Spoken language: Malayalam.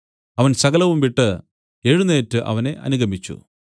അവൻ സകലവും വിട്ടു എഴുന്നേറ്റ് അവനെ അനുഗമിച്ചു